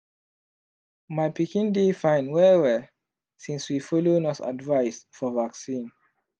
my pikin dey fine well-well since we follow nurse advice for vaccine.